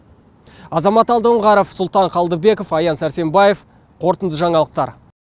азамат алдоңғаров сұлтан қалдыбеков аян сәрсенбаев қорытынды жаңалықтар